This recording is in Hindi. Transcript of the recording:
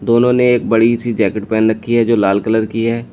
दोनों ने एक बड़ी सी जैकेट पहन रखी है जो लाल कलर की है।